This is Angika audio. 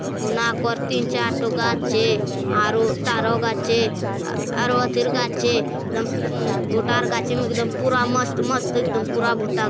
तीन-चार ठो गाछ छे तारो-तारो गाछ अरो अथिर गाछ पूरा मस्त मस्त एकदम पूरा भूतक।